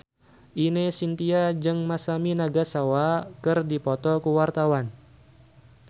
Ine Shintya jeung Masami Nagasawa keur dipoto ku wartawan